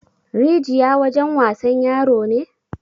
Rijiya wajen wasan yaro ne?